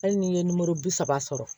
Hali n'i ye bi saba sɔrɔ